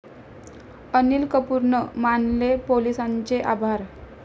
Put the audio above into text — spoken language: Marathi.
अनिल कपूरनं मानले पोलिसांचे आभार